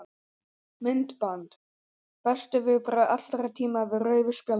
Myndband: Bestu viðbrögð allra tíma við rauðu spjaldi?